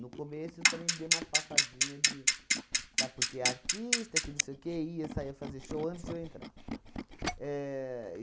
No começo, também dei uma passadinha de, sabe porque é artista, que não sei o quê, ia saia fazer show antes de eu entrar. Éh